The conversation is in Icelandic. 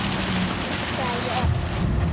hugsaði ég oft.